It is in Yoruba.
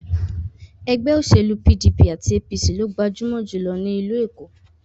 Ẹgbẹ́ òṣèlú PDP àti APC lo gbajúmọ̀ jùlọ ní ìlú Èkó.